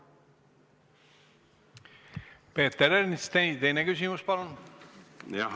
Peeter Ernits, teine küsimus, palun!